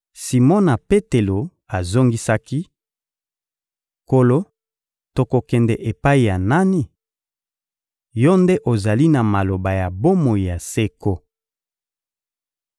Simona Petelo azongisaki: — Nkolo, tokokende epai ya nani? Yo nde ozali na maloba ya bomoi ya seko.